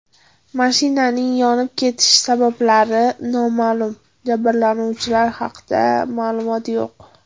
Mashinaning yonib ketish sabablari noma’lum, jabrlanuvchilar haqida ma’lumot yo‘q.